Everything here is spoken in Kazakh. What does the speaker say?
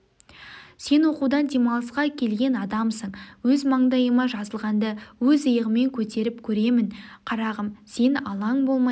сен оқудан демалысқа келген адамсың өз мандайыма жазылғанды өз иығыммен көтеріп керемін қарағым сен алаң болмай